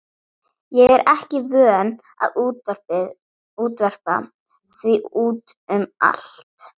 Ég er ekki vön að útvarpa því út um allt.